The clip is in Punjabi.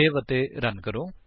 ਸੇਵ ਅਤੇ ਰਨ ਕਰੋ